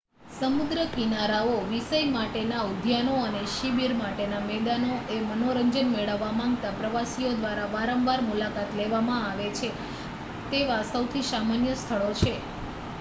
સમુદ્ર કિનારાઓ વિષય માટેના ઉદ્યાનો અને શિબીર માટેના મેદાનો એ મનોરંજન મેળવવા માંગતા પ્રવાસીઓ દ્વારા વારંવાર મુલાકાત લેવામાં આવે છે તેવા સૌથી સામાન્ય સ્થળો છે